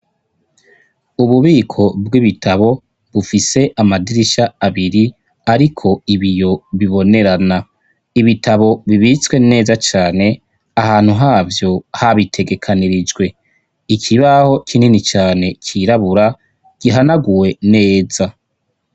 Ububiko bw'ibitabo, bufise amadirisha abiri, ariko ibiyo bibonerana. Ibitabo bibitswe neza cane, ahantu habo habitegekanirijwe. Ikibaho kinini cane cirabura, gihanaguwe neza.